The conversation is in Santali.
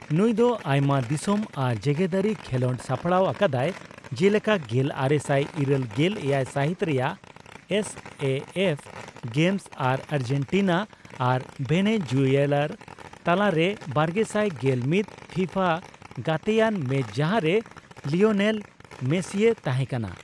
ᱱᱩᱭ ᱫᱚ ᱟᱭᱢᱟ ᱫᱤᱥᱚᱢ ᱟᱨ ᱡᱮᱜᱮᱫᱟᱹᱨᱤ ᱠᱷᱮᱞᱚᱸᱰᱮ ᱥᱟᱯᱲᱟᱣ ᱟᱠᱟᱫᱟᱭ ᱡᱮᱞᱮᱠᱟ ᱜᱮᱞ ᱟᱨᱮᱥᱟᱭ ᱤᱨᱟᱹᱞ ᱜᱮᱞ ᱮᱭᱟᱭ ᱥᱟᱹᱦᱤᱛ ᱨᱮᱭᱟᱜ ᱮᱥ ᱮ ᱮᱯᱷ ᱜᱮᱢᱥ ᱟᱨ ᱟᱨᱡᱮᱱᱴᱤᱱᱟ ᱟᱨ ᱵᱷᱮᱱᱮᱡᱩᱭᱮᱞᱟᱨ ᱛᱟᱞᱟᱨᱮ ᱵᱟᱨᱜᱮᱥᱟᱭ ᱜᱮᱞ ᱢᱤᱛ ᱯᱷᱤᱯᱷᱟ ᱜᱟᱛᱮᱭᱟᱱ ᱢᱮᱪ ᱡᱟᱦᱟᱸᱨᱮ ᱞᱤᱭᱳᱱᱮᱞ ᱢᱮᱥᱤᱭ ᱛᱟᱦᱮᱸ ᱠᱟᱱᱟ ᱾